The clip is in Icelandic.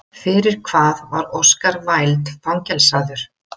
Fyrir hvað var Oscar Wilde fangelsaður?